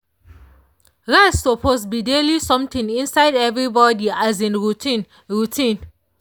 rest suppose be daily something inside everybody um routine. routine.